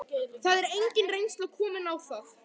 Það er engin reynsla komin á það.